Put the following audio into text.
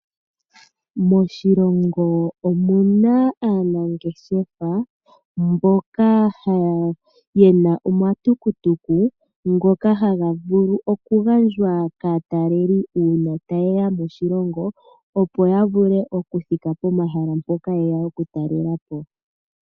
Moshilongo omuna aanangeshefa mboka yena omatuku tuku ngoka haga vulu oku gandjwa kaataleli uuna tayeya moshilongo opo ya vule okuthika pomahala mpoka yeya oku talelapo.